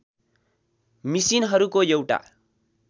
मिसिनहरूको एउटा